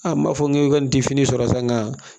A m'a fɔ k'e bɛ n difini sɔrɔ sa nga